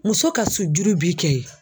Muso ka sojudu bi kɛ ye.